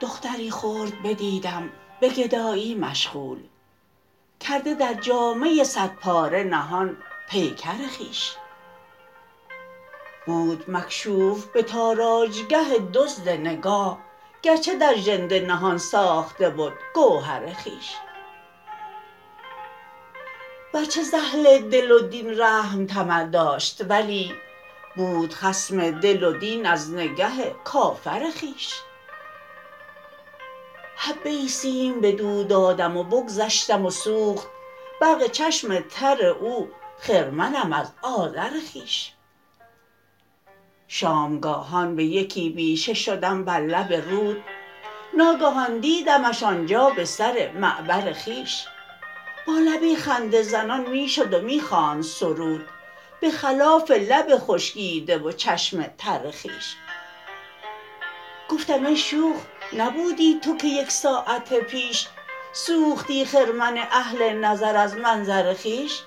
دختری خرد بدیدم به گدایی مشغول کرده در جامه صدپاره نهان پیکر خویش بود مکشوف به تاراجگه دزد نگاه گرچه در ژنده نهان ساخته بد گوهر خویش ورچه ز اهل دل و دین رحم طمع داشت ولی بود خصم دل و دین از نگه کافر خویش حبه ای سیم بدو دادم و بگذشتم و سوخت برق چشم تر او خرمنم از آذر خویش شامگاهان به یکی بیشه شدم بر لب رود ناگهان دیدمش آنجا به سر معبر خویش با لبی خنده زنان می شد و می خواند سرود به خلاف لب خشکیده و چشم تر خویش گفتم ای شوخ نبودی تو که یک ساعت پیش سوختی خرمن اهل نظر از منظر خویش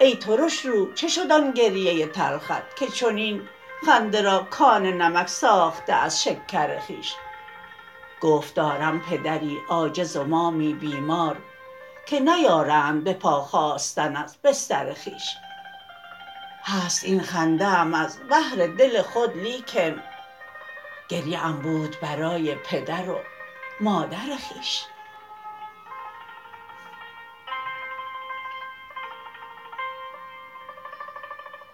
ای ترشرو چه شد آن گریه تلخت که چنین خنده را کان نمک ساخته از شکر خویش گفت دارم پدری عاجز و مامی بیمار که نیارند بپا خاستن از بستر خویش هست این خنده ام از بهر دل خود لیکن گریه ام بود برای پدر و مادر خویش